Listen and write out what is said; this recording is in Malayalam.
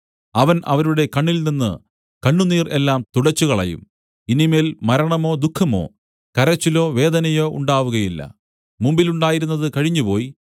അവൻ അവരുടെ കണ്ണിൽ നിന്നു കണ്ണുനീർ എല്ലാം തുടച്ചുകളയും ഇനി മേൽ മരണമോ ദുഃഖമോ കരച്ചിലോ വേദനയോ ഉണ്ടാവുകയില്ല മുമ്പിലുണ്ടായിരുന്നത് കഴിഞ്ഞുപോയി